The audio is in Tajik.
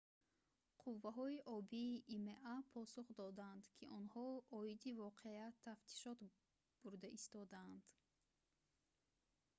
қувваҳои обии има посух доданд ки онҳо оиди воқеа тафтишот бурда истодаанд